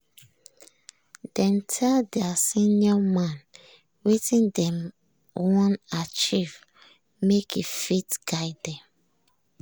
dem tell their senior man wetin dem wan achieve make e fit guide dem.